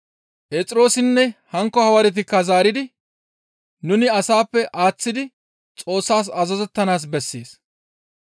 Phexroosinne hankko hawaaretikka zaaridi, «Nuni asappe aaththidi Xoossas azazettanaas bessees.